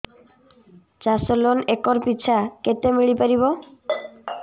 ଚାଷ loan acre ପିଛା କେତେ ମିଳି ପାରିବ